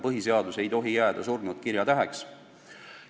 Põhiseadus ei tohi jääda surnud kirjatäheks.